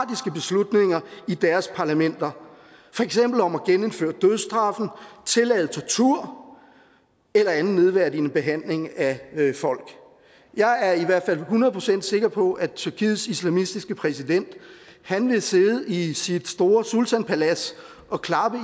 beslutninger i deres parlamenter for eksempel om at genindføre dødsstraf tillade tortur eller anden nedværdigende behandling af folk jeg er i hvert fald hundrede procent sikker på at tyrkiets islamistiske præsident vil sidde i sit store sultanpalads og klappe